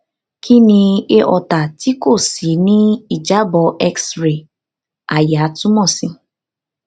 kini aorta ti ko ṣii ni ijabọ x ray àyà tumọ si